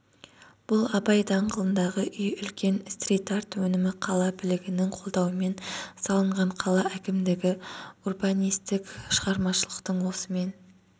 бұл абай даңғылындағы үй үлкен стрит-арт өнімі қала билігінің қолдауымен салынған қала әкімдігі урбанистік шығармашылықтың осымен